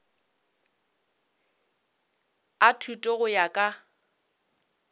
a thuto go ya ka